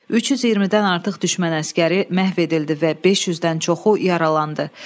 320-dən artıq düşmən əsgəri məhv edildi və 500-dən çoxu yaralandı.